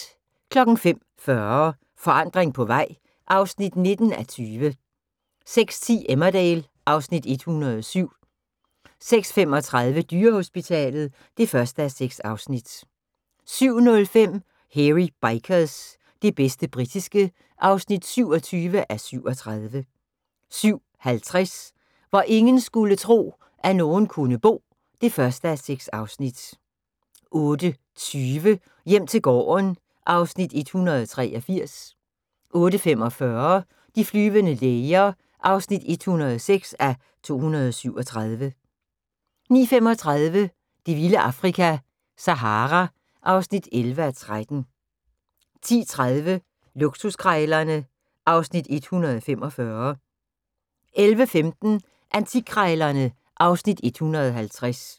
05:40: Forandring på vej (19:20) 06:10: Emmerdale (Afs. 107) 06:35: Dyrehospitalet (1:6) 07:05: Hairy Bikers – det bedste britiske (27:37) 07:50: Hvor ingen skulle tro, at nogen kunne bo (1:6) 08:20: Hjem til gården (Afs. 183) 08:45: De flyvende læger (106:237) 09:35: Det vilde Afrika - Sahara (11:13) 10:30: Luksuskrejlerne (Afs. 145) 11:15: Antikkrejlerne (Afs. 150)